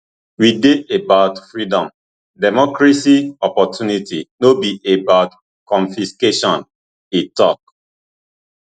we dey about freedom democracy opportunity no be about confiscation e tok